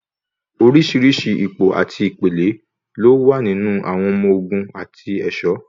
Oríṣìíríṣìí ipò àti ìpele ló wà nínú àwọn ọmọ ogun àti ẹ̀ṣọ̀.